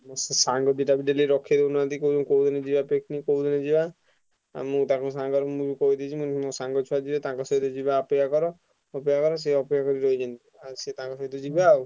ହଁ ସେ ସାଙ୍ଗ ଦିଟା ବି daily ରଖେଇ ଦଉନାହାନ୍ତି କହୁଛନ୍ତି କୋଉ ଦିନ ଯିବା picnic କୋଉ ଦିନ ଯିବା? ଆଉ ମୁଁ ତାଙ୍କ ସାଙ୍ଗରେ ମୁଁ ବି କହିଦେଇଛି ମୁଁ କହିଲି ମୋ ସାଙ୍ଗ ଛୁଆ ଯିବେ ତାଙ୍କ ସହିତ ଯିବା ଅପେକ୍ଷା କର ଅପେକ୍ଷା କର ସିଏ ଅପେକ୍ଷା କରି ରହିଛନ୍ତି, ଆଉ ସିଏ ତାଙ୍କ ସହିତ ଯିବା ଆଉ।